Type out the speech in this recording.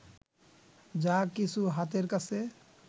যা কিছু হাতের কাছে